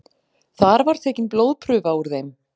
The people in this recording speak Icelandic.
Þar var tekin blóðprufa úr þeim